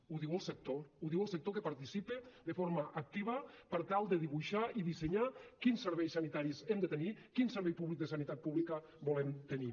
ho diu el sector ho diu el sector que participa de forma activa per tal de dibuixar i dissenyar quins serveis sanitaris hem de tenir quin servei públic de sanitat pública volem tenir